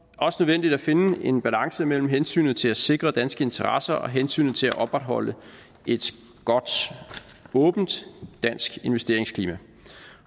også nødvendigt at finde en balance mellem hensynet til at sikre danske interesser og hensynet til at opretholde et godt åbent dansk investeringsklima